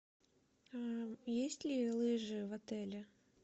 есть ли лыжи в отеле